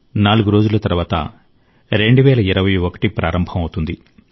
నాలుగు రోజుల తర్వాత 2021 ప్రారంభం అవుతుంది